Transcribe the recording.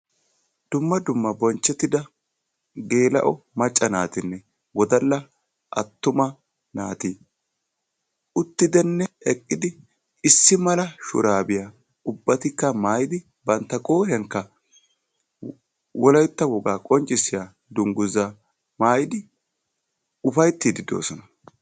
Dumma dumma bonchchetida geela"o macca naatinne wodala attuma naati uttidinne eqqidi issi mala shurabiya ubbatikka maayyidi bantta qooriyaankka wolaytta woga qonccissiya dungguza maayyidi ufayttiidi doosona.